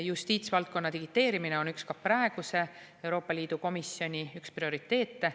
Justiitsvaldkonna digiteerimine on ka praeguse Euroopa Liidu komisjoni üks prioriteete.